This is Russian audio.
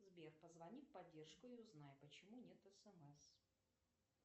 сбер позвони в поддержку и узнай почему нет смс